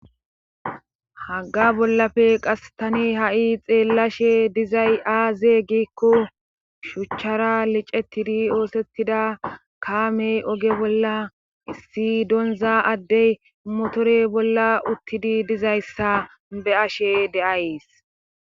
Hagga bollafe qas tani ha7i xeellashe dizay aaze gikko shuchchara licetidi oosettida kaamey oge bolla issi donza addey motore bolla uttidi dizayssa be ashe deays.